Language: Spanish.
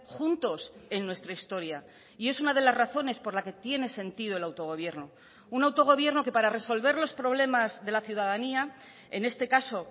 juntos en nuestra historia y es una de las razones por la que tiene sentido el autogobierno un autogobierno que para resolver los problemas de la ciudadanía en este caso